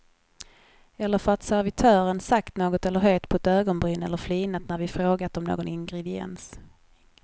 Eller för att servitören sagt något eller höjt på ett ögonbryn eller flinat när vi frågat om någon ingrediens.